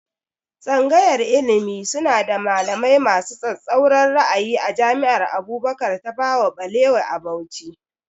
Tsangayar ilimi suna da malamai masu tsatsauran ra'ayi a jami'ar Abubakar Tafawa Balewa a Bauchi